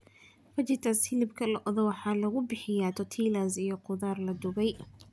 Fajitas hilibka lo'da waxaa lagu bixiyaa tortillas iyo khudaar la dubay.